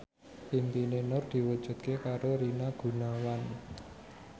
impine Nur diwujudke karo Rina Gunawan